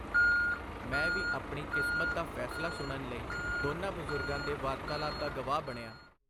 ਮੈਂ ਵੀ ਆਪਣੀ ਕਿਸਮਤ ਦਾ ਫੈਸਲਾ ਸੁਣਨ ਲਈ ਦੋਨਾਂ ਬਜ਼ੁਰਗਾਂ ਦੇ ਵਾਰਤਾਲਾਪ ਦਾ ਗਵਾਹ ਬਣਿਆਂ.